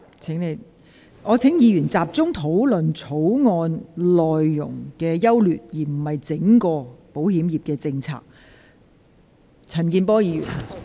議員應集中討論《條例草案》的優劣，而非論述整體的保險業政策。